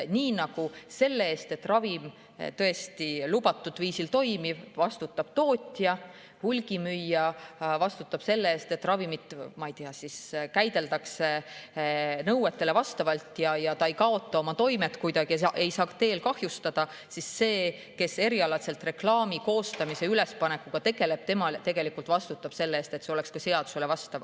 Nii nagu selle eest, et ravim tõesti lubatud viisil toimib, vastutab tootja, hulgimüüja vastutab selle eest, et ravimit, ma ei tea, käideldaks nõuetele vastavalt ja ta ei kaotaks oma toimet, ei saaks kahjustada, siis see, kes erialaselt reklaami koostamise ja ülespanekuga tegeleb, vastutab selle eest, et see oleks ka seadusele vastav.